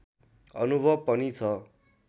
अनुभव पनि छ